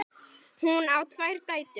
Hún á tvær dætur.